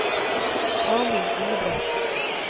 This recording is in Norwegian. Amund Ingebretsen